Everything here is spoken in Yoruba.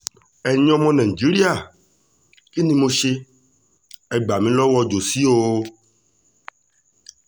ẹ̀yin ọmọ nàìjíríà kí ni mo ṣe é gbà mí lọ́wọ́ jóṣí o